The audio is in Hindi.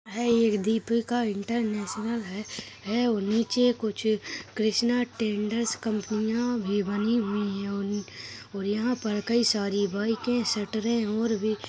यह एक दीपिका इंटरनेशनल है नीचे कुछ कृष्णा टेंडर्स कंपनियां भी बनी हुई है और यहाँ पर कई सारी बाइकें सटरे और भी --